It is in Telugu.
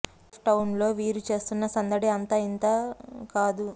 కేప్ టౌన్ లో వీరు చేస్తున్న సందడి అంతా ఇంకా కాదు